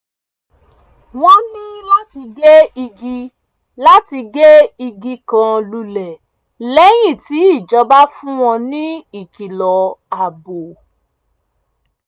wọ́n ní láti gé igi láti gé igi kan lulẹ̀ lẹ́yìn tí ìjọba fún wọn ní ìkìlọ̀ ààbò